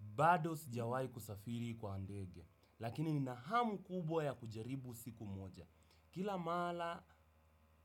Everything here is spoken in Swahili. Bado sijawai kusafiri kwa ndege, lakini ninahamu kubwa ya kujaribu siku moja. Kila mala